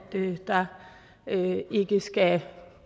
der ikke skal